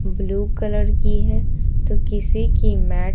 blue colour की है तो किसी की मैट --